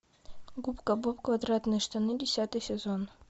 губка боб квадратные штаны десятый сезон